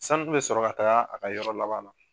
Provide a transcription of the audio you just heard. Sanu kun bɛ sɔrɔ ka taga a ka yɔrɔ laban na.